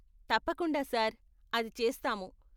తప్పకుండా సార్, అది చేస్తాము.